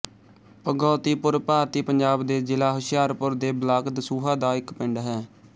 ਭਗੌਤੀਪੁਰ ਭਾਰਤੀ ਪੰਜਾਬ ਦੇ ਜਿਲ੍ਹਾ ਹੁਸ਼ਿਆਰਪੁਰ ਦੇ ਬਲਾਕ ਦਸੂਹਾ ਦਾ ਇੱਕ ਪਿੰਡ ਹੈ